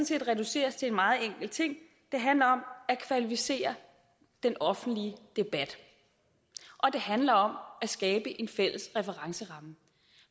set reduceres til en meget enkel ting det handler om at kvalificere den offentlige debat og det handler om at skabe en fælles referenceramme